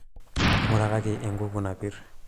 ngurakaki ekuku napir